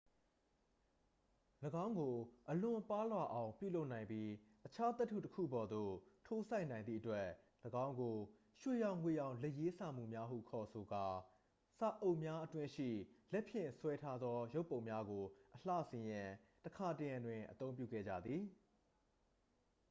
"၎င်းကို အလွန်ပါးလွှာအောင် ပြုလုပ်နိုင်ပြီး အခြားသတ္တုတစ်ခုပေါ်သို့ ထိုးစိုက်နိုင်သည့်အတွက် ၎င်းကို "ရွှေရောင်ငွေရောင် လက်ရေးစာမူများ" ဟု ခေါ်ဆိုသော စာအုပ်များအတွင်းရှိ လက်ဖြင့်ဆွဲထားသောရုပ်ပုံများကို အလှဆင်ရန် တခါတရံတွင် အသုံးပြုခဲ့ကြသည်။